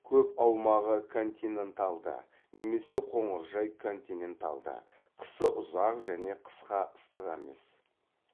көп аумағы континенталды немесе қоңыржай континенталды қысы ұзақ және қысқа ыстық емес